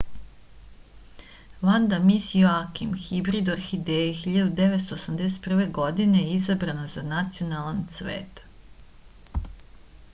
vanda mis joakim hibrid orhideje 1981. godine je izabrana za nacionalan cvet